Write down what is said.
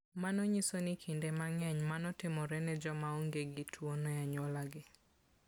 Mano nyiso ni kinde mang'eny mano timore ne joma onge gi tuwono e anyuolagi.